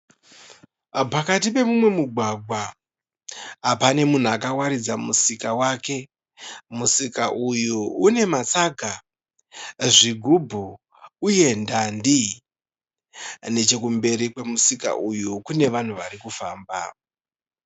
Pakati pemumwe mugwagwa pane munhu akawaridza musika wake, musika uyu une masaga, zvigubhu uye ndandi. Nechekumberi kwemusika uyu kune vanhu vari kufamba.